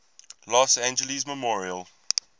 los angeles memorial